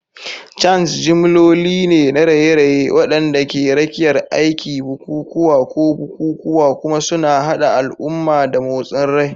Chants jimloli ne na raye-raye waɗanda ke rakiyar aiki, bukukuwa, ko bukukuwa, kuma suna haɗa al'umma da motsin rai.